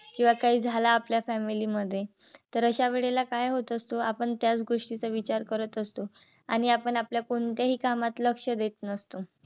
किंवा काही झाल आपल्या family मध्ये तर अशा वेळेला काय होत असत. आपण त्याच गोष्टीचा विचार करत असतो आणि आपण आपल्या कोणत्याही कामात लक्ष देत नसतो.